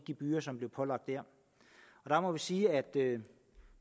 gebyrer som blev pålagt der der må vi sige at